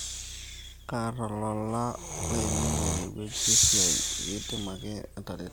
kaata olola laiminie tenewueji esia ,ekidim ake atareto